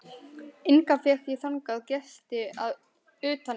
Enga fékk ég þangað gesti utan einn.